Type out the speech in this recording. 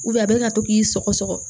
a bɛ ka to k'i sɔgɔsɔgɔ